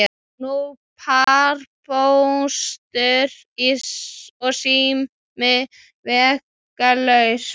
Nú var Póstur og sími vegalaus.